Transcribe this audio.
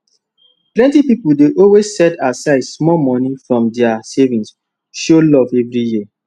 plenty pipo dey always set aside small money from dia savings show love every year